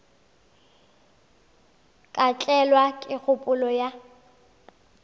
ka tlelwa ke kgopolo ya